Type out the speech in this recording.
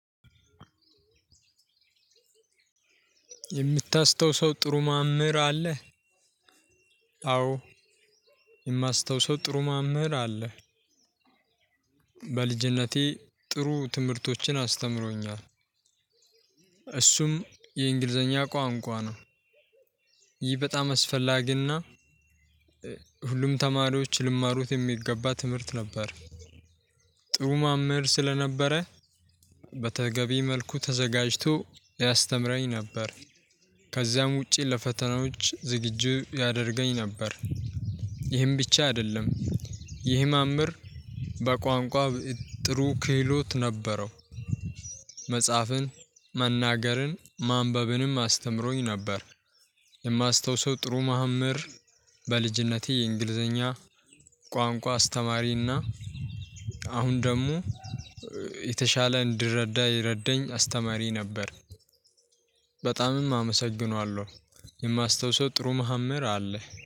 የምታስታውሰው ጥሩ ማምህር አለ? አዎ የማስታውሰው ጥሩ ማምህር አለ። በልጅነቴ ጥሩ ትምህርቶችን አስተምሮኛል እሱም የእንግሊዘኛ ቋንቋ ነው። ይህ በጣም አስፈላጊና ሁሉም ተማሪዎች ሊማሩት የሚገባ ትምህርት ነበር። ጥሩ ማምህር ስለነበረ በተገቢ መልኩ ተዘጋጅቶ ያስተምረኝ ነበር ከዚያም ውጪ ለፈተናዎች ዝግጁ ያደርገኝ ነበር። ይህም ብቻ አደለም ይህ መምህር በቋንቋ ጥሩ ክህሎት ነበረው። መጽሐፍን መናገርን ማንበብንም አስተምሮኝ ነበር። የማስታውሰው ጥሩ መምህር በልጅነቴ የእንግሊዘኛ ቋንቋ አስተማሪና አሁን ደግሞ የተሻለ እንድረዳ የረዳኝ አስተማሪ ነበር። በጣምም አመሰግነዋለው። የማስታውሰው ጥሩ መምህር አለ